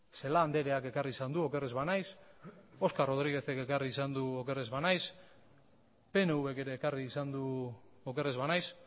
celaá andreak ekarri izan du oker ez banaiz oscar rodríguezek ekarri izan du oker ez banaiz pnvk ere ekarri izan du oker ez banaiz